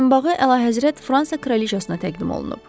Boyunbağı Əlahəzrət Fransa kraliçasına təqdim olunub.